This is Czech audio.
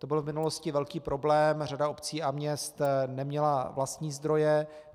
To byl v minulosti velký problém, řada obcí a měst neměla vlastní zdroje.